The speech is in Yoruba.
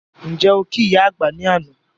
Ǹjẹ́ okí ìyá àgbà ní àná?